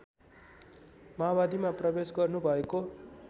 माओवादीमा प्रवेश गर्नुभएको